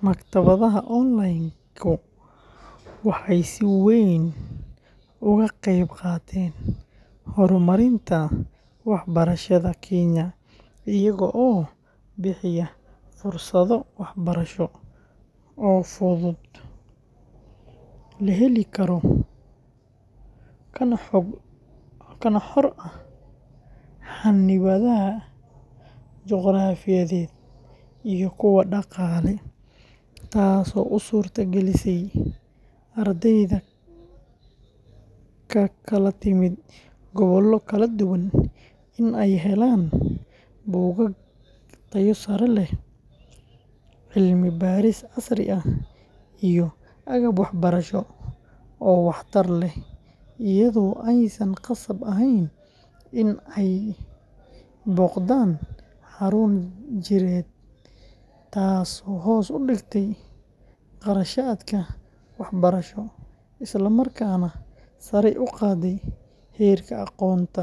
Maktabadaha online-ku waxay si weyn uga qayb qaateen horumarinta waxbarashada Kenya iyaga oo bixiya fursado waxbarasho oo fudud, la heli karo, kana xor ah xannibaadaha juqraafiyeed iyo kuwa dhaqaale, taasoo u suurto gelisay ardayda ka kala timid gobollo kala duwan in ay helaan buugaag tayo sare leh, cilmi baaris casri ah, iyo agab waxbarasho oo waxtar leh iyadoo aysan khasab ahayn in ay booqdaan xarun jireed, taasoo hoos u dhigtay kharashaadka waxbarasho, isla markaana sare u qaaday heerka aqoonta;